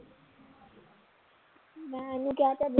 ਮੈਂ ਨੀ ਕਿਹਾ